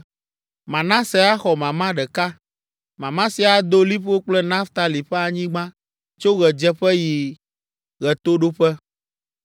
Manase axɔ mama ɖeka. Mama sia ado liƒo kple Naftali ƒe anyigba tso ɣedzeƒe ayi ɣetoɖoƒe.